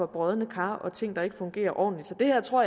brodne kar og ting der ikke fungerer ordentligt så jeg tror